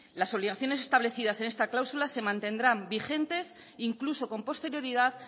las obligaciones establecidas en esta cláusula se mantendrán vigentes e incluso con posterioridad